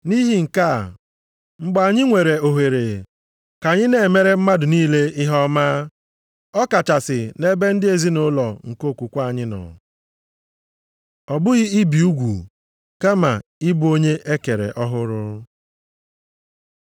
Nʼihi nke a, mgbe anyị nwere oghere ka anyị na-emere mmadụ niile ihe ọma, ọkachasị nʼebe ndị ezinaụlọ nke okwukwe anyị nọ. Ọ bụghị ibi ugwu kama ị bụ onye e kere ọhụrụ